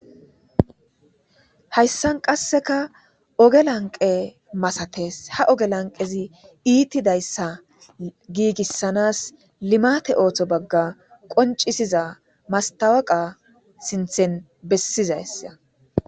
hayssan qasseka oge lanqe masates ha oge lanqezi iittidayssa giigissanas limate ooththo bagga qoncisiza mastawaqa sinthen bessizayssa